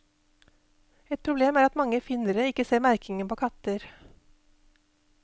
Et problem er at mange finnere ikke ser merkingen på katter.